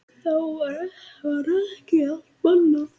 Þá var ekki allt bannað.